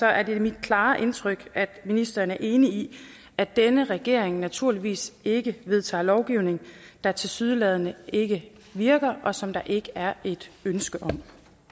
er det mit klare indtryk at ministeren er enig i at denne regering naturligvis ikke vedtager lovgivning der tilsyneladende ikke virker og som der ikke er et ønske om